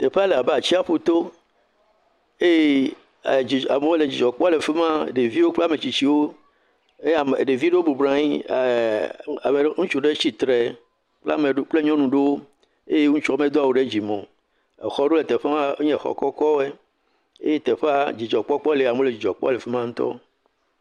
Teƒea le abe atsiaƒu to eye amewo le dzidzɔ kpɔm le fi ma, ɖeviwo kple ametsitsiwo eye ame ɖevi ɖewo bɔbɔ nɔ anyi oh ame ɖewo ŋutsu ɖe tsitre kple nyɔnu ɖewo eye ŋutsua medo awu ɖe dzime o, exɔ ɖewo le teƒea enye exɔ kɔkɔ wo eye teƒe dzidzɔ kpɔkpɔ le amewo le dzidzɔ kpɔm ŋutɔ.